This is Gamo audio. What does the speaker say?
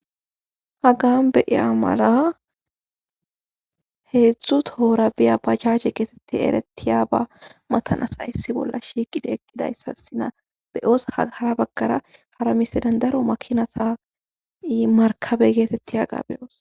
hagan beyiya mala heedzdzu toora biya ba jaje geetetti erettiyaaba matan asay issi bolla shiiqide eqqidayssa sina beyoos haghara bagkara hara misi dandaro makinatayi markabe geetetti yaga beyoos